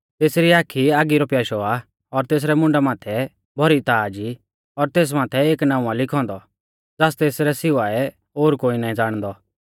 तेसरी आखी आगी रौ प्याशौ आ और तेसरै मुंडा माथै भौरी ताज़ ई और तेस माथै एक नाऊं आ लिखौ औन्दौ ज़ास तेसरै सिवाऐ ओर कोई ना ज़ाणदौ